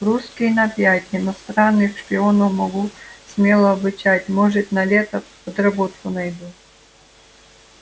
русский на пять иностранных шпионов могу смело обучать может на лето подработку найду